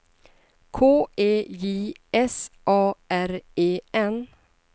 K E J S A R E N